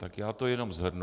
Tak já to jenom shrnu.